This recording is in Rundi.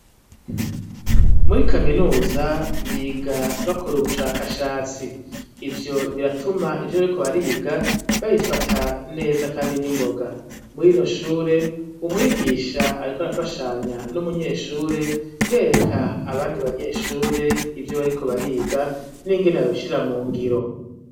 Muri kaminuza biga bakora ubushakashatsi, ivyo biratuma ivyo bariko bariga babifata neza kandi n'ingoga, muri rino shure umwigisha ariko arafashanya n'umunyeshure bereka abandi banyeshure ivyo bariko bariga n'ingene babishira mu ngiro.